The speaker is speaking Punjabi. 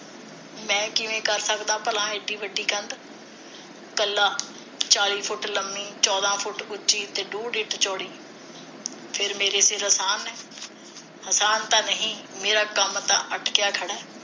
ਮੈਂ ਕਿਵੇਂ ਕਰ ਸਕਦਾ ਭਲਾ ਇੱਡੀ ਵੱਡੀ ਕੰਧ, ਕੱਲਾ ਚਾਲੀ ਫੁੱਟ ਲੰਮੀ ਚੌਧਾ ਫੁੱਟ ਉਚੀ ਤੇ ਡੂਡ ਇੰਚ ਚੌੜੀ ਫਿਰ ਮੇਰੇ ਫਿਰ ਅਸਾਨ ਹੈ ਅਸਾਨ ਤਾ ਨਹੀ ਮੇਰਾ ਕੰਮ ਤਾਂ ਅਟਕਿਆ ਖੜਾ